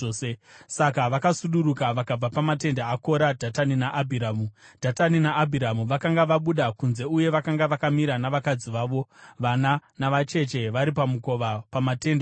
Saka vakasuduruka vakabva pamatende aKora, Dhatani naAbhiramu. Dhatani naAbhiramu vakanga vabuda kunze uye vakanga vakamira navakadzi vavo, vana navacheche vari pamukova pamatende avo.